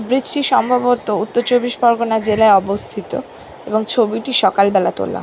Bridge টি সম্ভবত উত্তর চব্বিশ পরগনা জেলায় অবস্থিত এবং ছবিটি সকাল বেলা তোলা।